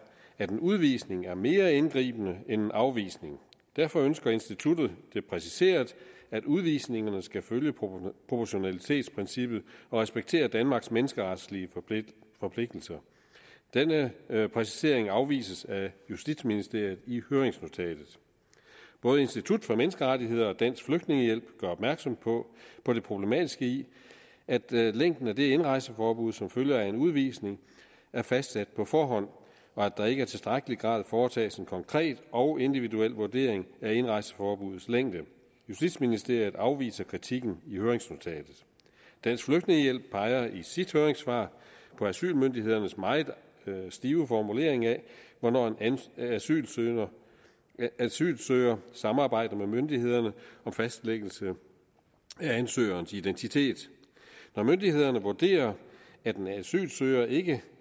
at en udvisning er mere indgribende end en afvisning derfor ønsker instituttet det præciseret at udvisningerne skal følge proportionalitetsprincippet og respektere danmarks menneskeretlige forpligtelser denne præcisering afvises af justitsministeriet i høringsnotatet både institut for menneskerettigheder og dansk flygtningehjælp gør opmærksom på på det problematiske i at at længden af det indrejseforbud som følger af en udvisning er fastsat på forhånd og at der ikke i tilstrækkelig grad foretages en konkret og individuel vurdering af indrejseforbuddets længde justitsministeriet afviser kritikken i høringsnotatet dansk flygtningehjælp peger i sit høringssvar på asylmyndighedernes meget stive formulering af hvornår en asylsøger asylsøger samarbejder med myndighederne om fastlæggelse af ansøgerens identitet når myndighederne vurderer at en asylsøger ikke